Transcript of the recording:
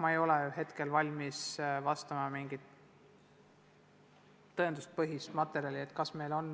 Ma ei ole hetkel valmis esitama mingit tõenduspõhist materjali ega oska öelda, kas meil on